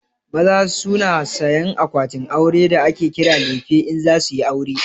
Maza su na sayan akwatin aure da ake kira lefe in za suyi aure